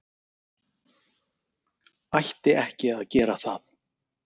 Ætti ekki að gera það.